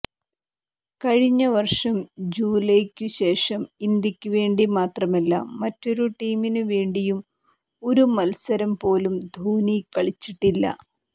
കഴിഞ്ഞ വര്ഷം ജൂലൈയ്ക്കു ശേഷം ഇന്ത്യക്കുവേണ്ടി മാത്രമല്ല മറ്റൊരു ടീമിനു വേണ്ടിയും ഒരു മല്സരം പോലും ധോണി കളിച്ചിട്ടില്ല